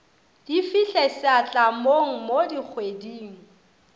di fihle setlamong mo dikgweding